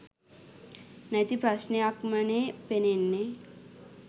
නැති ප්‍රශ්නයක්මනේ පෙනෙන්නේ.